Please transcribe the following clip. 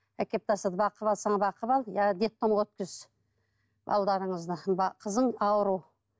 әкеліп тастады бағып алсаң бағып ал иә детдомға өткіз қызың ауру